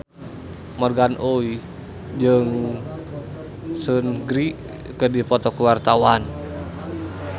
Morgan Oey jeung Seungri keur dipoto ku wartawan